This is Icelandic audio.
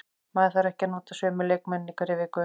Maður þarf ekki að nota sömu leikmennina í hverri viku.